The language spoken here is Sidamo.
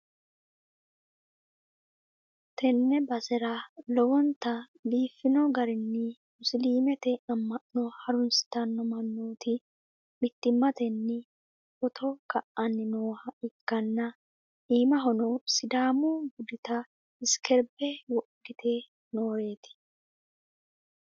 tenne basera lowontanni biifino garinni musiliimete amma'no harunsitanno mannooti mittimmatenni footo ka'anni nooha ikkanna, iimahono sidaamu budita isikeerbe wodhite nooreeti.